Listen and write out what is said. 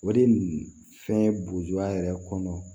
O de fɛn burujuya yɛrɛ kɔnɔ